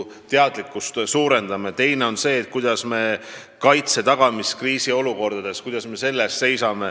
Teiseks tuleb paika panna, kuidas me tagame kaitse kriisiolukordades.